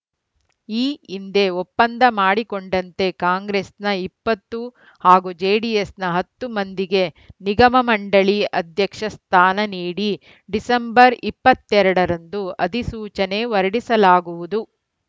ಈ ಹಿಂದೆ ಒಪ್ಪಂದ ಮಾಡಿಕೊಂಡಂತೆ ಕಾಂಗ್ರೆಸ್‌ನ ಇಪ್ಪತ್ತು ಹಾಗೂ ಜೆಡಿಎಸ್‌ನ ಹತ್ತು ಮಂದಿಗೆ ನಿಗಮ ಮಂಡಳಿ ಅಧ್ಯಕ್ಷ ಸ್ಥಾನ ನೀಡಿ ಡಿಸೆಂಬರ್ ಇಪ್ಪತ್ತ್ ಎರಡ ರಂದು ಅಧಿಸೂಚನೆ ಹೊರಡಿಸಲಾಗುವುದು